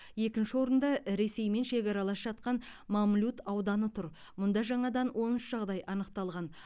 екінші орында ресеймен шекаралас жатқан мамлют ауданы тұр мұнда жаңадан он үш жағдай анықталған